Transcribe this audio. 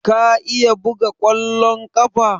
Ka iya buga ƙwallon ƙafa?